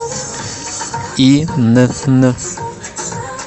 инн